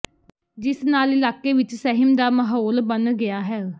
ਜਿਸ ਨਾਲ ਇਲਾਕੇ ਵਿਚ ਸਹਿਮ ਦਾ ਮਾਹੌਲ ਬਣ ਗਿਆ ਹ